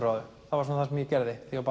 á þau það var það sem ég gerði þegar